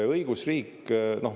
Õigusriik …